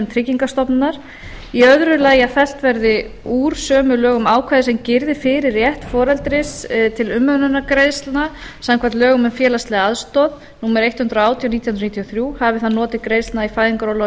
tryggingastofnunar annars að fellt verði úr sömu lögum ákvæði sem girði fyrir rétt foreldris til umönnunargreiðslna samkvæmt lögum um félagslega aðstoð númer hundrað og átján nítján hundruð níutíu og þrjú hafi það notið greiðslna í fæðingarorlofi